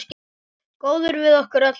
Góður við okkur öll, alltaf.